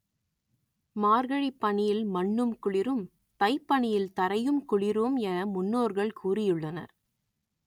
மார்கழிப் பனியில் மண்ணும் குளிரும் தைப் பனியில் தரையும் குளிரும் என முன்னோர்கள் கூறியுள்ளனர்